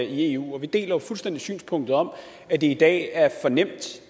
eu og vi deler jo fuldstændig synspunktet om at det i dag er for nemt